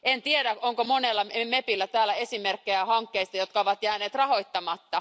En tiedä, onko monella mepillä on täällä esimerkkejä hankkeista, jotka ovat jääneet rahoittamatta.